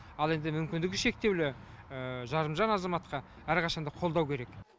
ал енді мүмкіндігі шектеулі жарымжан азаматқа әрқашан да қолдау керек